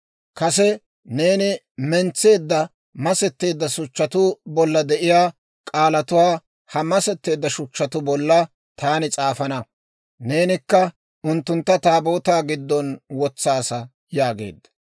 Kase neeni mentseedda masetteedda shuchchatuu bolla de'iyaa k'aalatuwaa ha masetteedda shuchchatuu bolla taani s'aafana; neenikka unttuntta Taabootaa giddon wotsaasa› yaageedda.